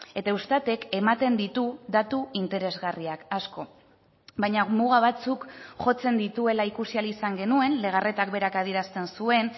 eta eustat ek ematen ditu datu interesgarriak asko baina muga batzuk jotzen dituela ikusi ahal izan genuen legarretak berak adierazten zuen